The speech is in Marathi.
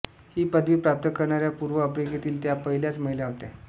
ही पदवी प्राप्त करणाऱ्या पूर्व आफ्रिकेतील त्या पहिल्याच महिला होत्या